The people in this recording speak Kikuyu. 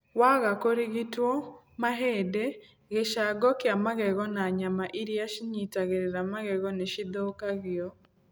Waga kũrigitwo, mahĩndĩ, gĩcango kĩa magego na nyama iria cinyitagĩrĩra magego nĩ cithũkagio.